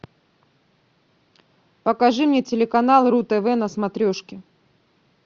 покажи мне телеканал ру тв на смотрешке